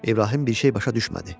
İbrahim bir şey başa düşmədi.